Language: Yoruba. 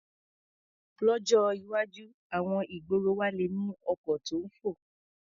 Lọ́jọ́ iwájú, àwọn ìgboro wa le ní ọkọ̀ tó ń fò.